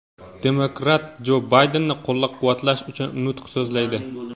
demokrat Jo Baydenni qo‘llab-quvvatlash uchun nutq so‘zlaydi.